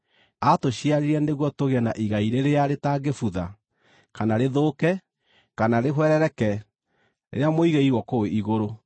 Aatũciarire nĩguo tũgĩe na igai rĩrĩa rĩtangĩbutha, kana rĩthũke, kana rĩhwerereke, rĩrĩa mũigĩirwo kũu igũrũ,